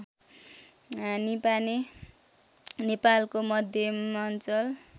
निपाने नेपालको मध्यमाञ्चल